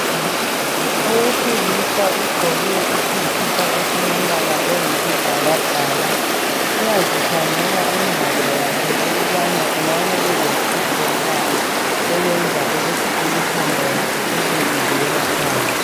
Owesilisa ugqoke isikipa esilombala oyisibhakabhaka. Uyazikhangela ingalo yakhe ukubana engabe elohlupho lwani okwenza imithambo yakhe ibe ivela phandle.